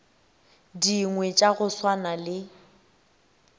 dingwe tša go swana le